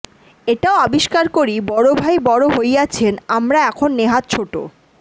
এটাও আবিষ্কার করি বড় ভাই বড় হইয়াছেন আমরা এখন নেহাত ছোট